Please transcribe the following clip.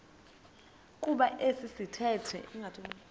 kuba esi sithethe